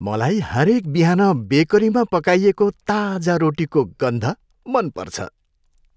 मलाई हरेक बिहान बेकरीमा पकाइएको ताजा रोटीको गन्ध मन पर्छ।